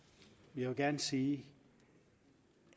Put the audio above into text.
vil gerne sige